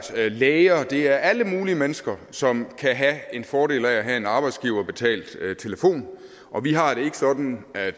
læger det er alle mulige mennesker som kan have en fordel af at have en arbejdsgiverbetalt telefon og vi har det ikke sådan at